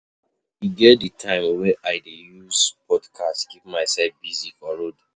E get di time wey I dey use podcast keep mysef busy for road.